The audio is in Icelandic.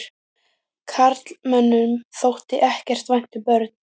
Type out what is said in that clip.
Karlmönnum þótti ekkert vænt um börn.